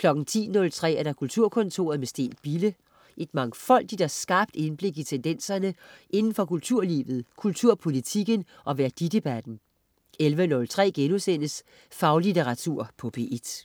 10.03 Kulturkontoret med Steen Bille. Et mangfoldigt og skarpt indblik i tendenserne indenfor kulturlivet, kulturpolitikken og værdidebatten 11.03 Faglitteratur på P1*